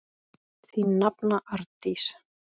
Þín nafna, Arndís.